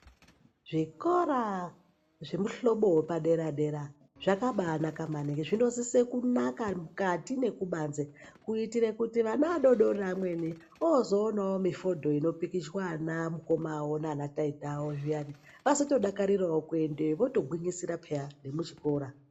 Zvikora zvemuhlobo wepaderadera zvakambanaka maningi zvinosise kunaka mukati nekubanze kuitira kuti vana vadodori amweni vozoonawo mifodho inopikichwa ana mukoma wawo nana taita vazodakarirawo kuendeyo vazotogwinyisira nekuchikora